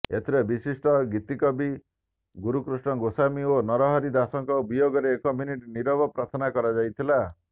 ଏଥିରେ ବିଶିଷ୍ଟ ଗୀତିକବି ଗୁରୁକୃଷ୍ଣ ଗୋସ୍ୱାମୀ ଓ ନରହରି ଦାଶଙ୍କ ବିୟୋଗରେ ଏକ ମିନିଟ୍ ନିରବ ପ୍ରାର୍ଥନା କରାଯାଇଥିଲା